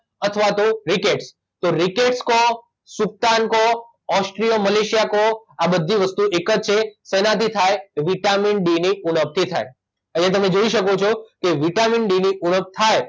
અથવા તો રીકેટ તો રીકેટ કો સૂકતાન કો ઓસ્ટ્રિયો મલેશિયા કો આ બધી વસ્તુઓ એક જ છે શેનાથી થાય વિટામિન ડી ની ઉણપથી થાય અહીંયા તમે જોઇ શકો છો કે વિટામિન ડી ની ઉણપ થાય